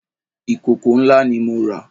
Ìkòkò ńlá ni mo rà